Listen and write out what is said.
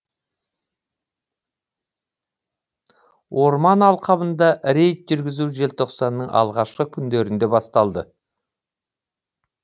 орман алқабында рейд жүргізу желтоқсанның алғашқы күндерінде басталды